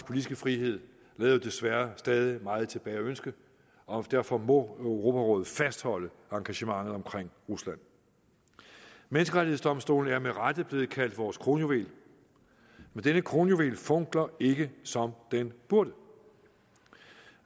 politiske frihed lader jo desværre stadig meget tilbage at ønske og derfor må europarådet fastholde engagementet omkring rusland menneskerettighedsdomstolen er med rette blevet kaldt vores kronjuvel men denne kronjuvel funkler ikke som den burde